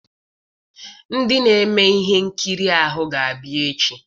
Ndị na-eme ihe nkiri ahụ ga-abịa echi.